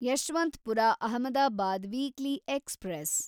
Yeshwanthpur Ahmedabad weekly express